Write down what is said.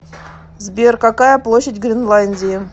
сбер какая площадь гренландии